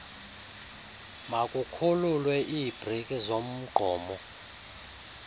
makukhululwe iibreki zomgqomo